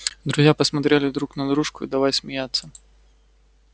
друзья посмотрели друг на дружку и давай смеяться